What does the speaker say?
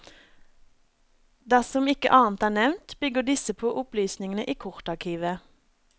Dersom ikke annet er nevnt, bygger disse på opplysningene i kortarkivet.